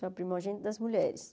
Sou a primogênita das mulheres.